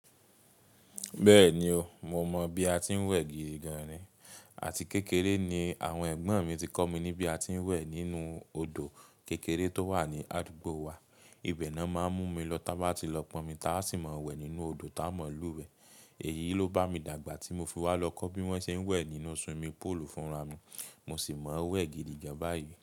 Bẹ́ẹ̀ni o, mo mọ bi a ti ń wẹ̀ gìgì gan ni. Àti kékeré ni àwọn ẹ̀gbọ́n mi ti kọ́ mi ní bí a ti ń wẹ̀ nínú odò kékeré tó wà ní àdúgbò wa. Ibẹ̀ náà máa ń mú mi lọ tá bá ti lọ pọnmi táa sì máa ń wẹ̀ nínú odò tá a ma lú wẹ̀. Èyí ló bá mi dàgbà tí mo fi wá lọ kọ́ bí wọ́n ṣe ń wẹ̀ nínú odo iwe fúnra mi. Mo sì mọ wẹ̀ gìgì gan báyìí.